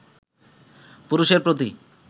পুরুষের প্রতি